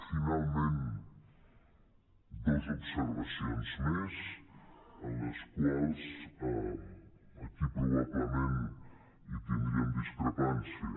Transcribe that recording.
finalment dues observacions més en les quals aquí probablement tindríem dis·crepància